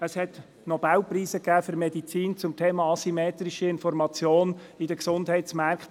Es gab Nobelpreise für Medizin zum Thema asymmetrische Information in den Gesundheitsmärkten.